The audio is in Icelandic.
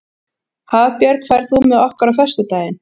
Hafbjörg, ferð þú með okkur á föstudaginn?